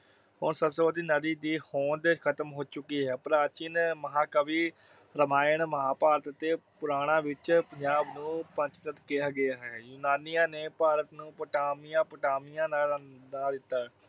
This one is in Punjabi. ਹੁਣ ਸਰਸਵਤੀ ਦੀ ਹੋਂਦ ਖ਼ਤਮ ਹੋ ਚੁੱਕੀ ਹੈ। ਪ੍ਰਾਚੀਨ ਮਹਾਕਾਵਿ ਰਮਾਇਣ, ਮਹਾਭਾਰਤ ਅਤੇ ਪੁਰਾਣਾਂ ਵਿਚ ਪੰਜਾਬ ਨੂੰ ਪੰਚਨਦ ਕਿਹਾ ਗਿਆ ਹੈ। ਯੂਨਾਨੀਆਂ ਨੇ ਪੰਜਾਬ ਨੂੰ ਪੈਂਟਾਪੋਟਾਮੀਆ ਦਾ ਨਾਂ ਦਿੱਤਾ,